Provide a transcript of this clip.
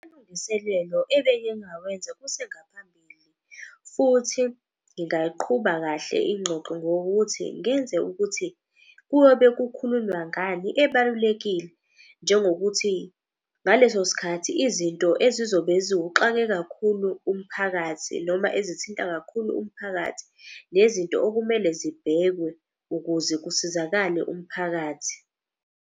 Amalungiselelo ebengingawenza kusengaphambili. Futhi ngingaqhuba kahle ingxoxo ngokuthi ngenze ukuthi, kuyobe kukhulunywa ngani ebalulekile. Njengokuthi ngaleso sikhathi izinto ezizobe ziwuxake kakhulu umphakathi noma ezithinta kakhulu umphakathi, nezinto okumele zibhekwe ukuze kusizakale umphakathi.